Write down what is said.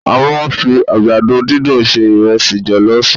A máa ń fi àgbàdo dúndùn se ìresí jọ̀lọ́fù.